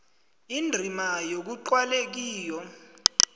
indima ekuqalwe kiyo